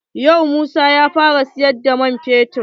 Yau Musa ya fara siyar da man fetur.